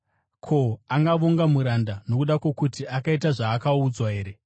Ko, angavonga muranda nokuda kwokuti akaita zvaakaudzwa here?